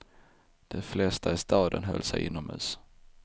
De flesta i staden höll sig inomhus.